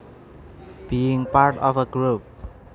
Being part of a group